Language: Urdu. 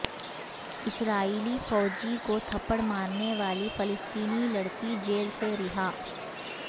اسرائیلی فوجی کو تھپڑ مارنے والی فلسطینی لڑکی جیل سے رہا